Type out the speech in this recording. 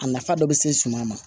A nafa dɔ bɛ se suma ma